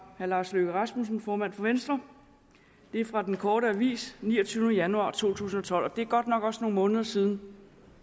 herre lars løkke rasmussen formand for venstre det er fra den korte avis den niogtyvende januar to tusind og tolv og det er godt nok også nogle måneder siden